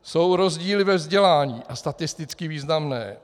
Jsou rozdíly ve vzdělání, a statisticky významné.